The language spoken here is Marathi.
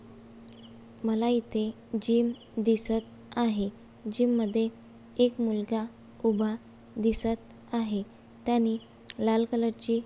मला इथे जीम दिसत आहे. जीम मध्ये एक मुलगा उभा दिसत आहे त्यांनी लाल कलर ची --